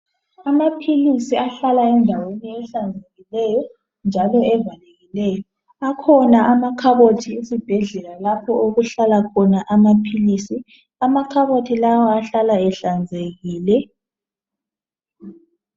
Amaphilisi ahlala endaweni ehlanzekileyo njalo evalekileyo. Akhona amakhabothi esibhedlela lapho okuhlala khona amaphilisi . Amakhabothi lawa ahlala ehlanzekile.